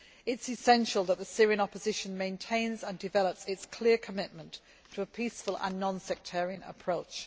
It is essential that the Syrian opposition maintains and develops its clear commitment to a peaceful and non sectarian approach.